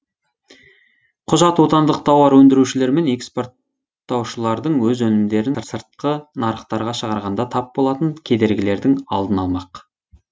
құжат отандық тауар өндірушілер мен экспорттаушылардың өз өнімдерін сыртқы нарықтарға шығарғанда тап болатын кедергілердің алдын алмақ